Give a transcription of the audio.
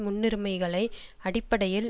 முன்னுரிமைகளை அடிப்படையில்